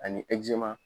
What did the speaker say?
Ani